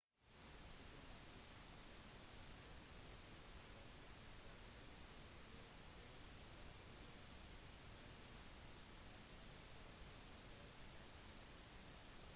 diplomatiske uenigheter om regionen fortsetter å skade relasjonen mellom armenia og aserbajdsjan